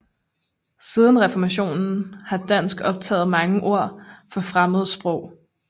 Siden reformationen har dansk optaget mange ord fra fremmede sprog